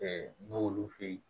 n'olu fɛ ye